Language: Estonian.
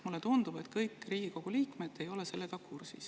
Mulle tundub, et kõik Riigikogu liikmed ei ole sellega kursis.